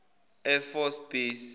air force base